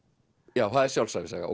já það er sjálfsævisaga